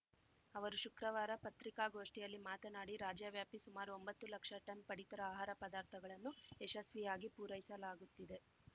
ಅವರು ಶುಕ್ರವಾರ ಪತ್ರಿಕಾಗೋಷ್ಠಿಯಲ್ಲಿ ಮಾತನಾಡಿ ರಾಜ್ಯ ವ್ಯಾಪಿ ಸುಮಾರು ಒಂಬತ್ತು ಲಕ್ಷ ಟನ್‌ ಪಡಿತರ ಆಹಾರ ಪದಾರ್ಥಗಳನ್ನು ಯಶಸ್ವಿಯಾಗಿ ಪೂರೈಸಲಾಗುತ್ತಿದೆ